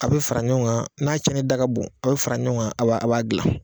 A bɛ fara ɲɔgɔn kan n'a cɛnni da ka bon, a bɛ fara ɲɔgɔn kan a a b'a dilan.